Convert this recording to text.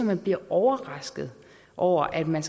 man bliver overrasket over at man